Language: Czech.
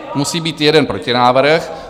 Musí být jeden protinávrh.